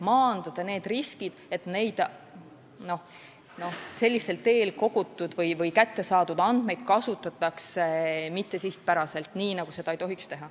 Tuleb maandada need riskid, et sellisel teel kogutud või kättesaadud andmeid kasutatakse mittesihipäraselt, nii nagu seda ei tohiks teha.